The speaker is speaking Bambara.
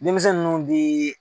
Denmisɛn nunnu bi